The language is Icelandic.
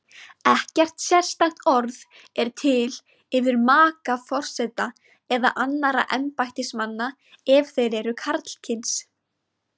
Ekkert sérstakt orð er til yfir maka forseta eða annarra embættismanna ef þeir eru karlkyns.